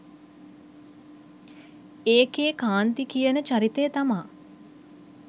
ඒකේ කාන්ති කියන චරිතය තමා